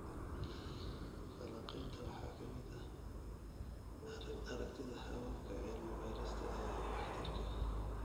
Falanqaynta waxaa ka mid ah aragtida hababka cilmi baarista ee waxtarka.